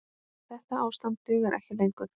Þetta ástand dugar ekki lengur.